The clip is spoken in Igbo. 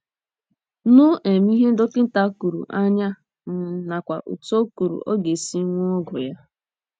nụ um ihe dọkịta kwuru anya um nakwa otú o kwuru ọ ga - esi ṅụọ ọgwụ ya